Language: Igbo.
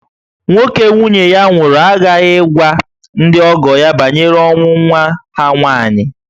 Nwoke nwunye ya nwụrụ aghaghị ịgwa ndị ọgọ ya banyere ọnwụ nwa ha nwaanyị